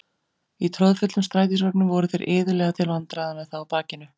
Í troðfullum strætisvögnum voru þeir iðulega til vandræða með þá á bakinu.